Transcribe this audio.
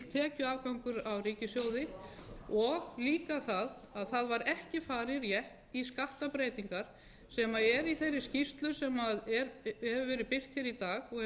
tekjuafgangur á ríkissjóði og líka að það var ekki farið rétt í skattabreytingar sem er í þeirri skýrslu sem hefur verið birt í dag